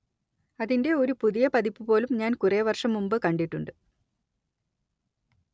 അതിന്റെ ഒരു പുതിയ പതിപ്പ് പോലും ഞാന്‍ കുറെ വര്‍ഷം മുന്‍പ് കണ്ടിട്ടുണ്ട്